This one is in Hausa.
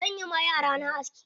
Zan yi ma yara na aski.